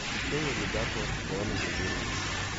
печенье любятово с шоколадной глазурью